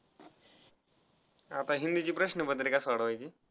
आता हिन्दीची प्रश्नपत्रिका सोडवायची.